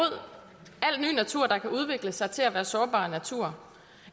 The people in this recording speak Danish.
al ny natur der kan udvikle sig til at være sårbar natur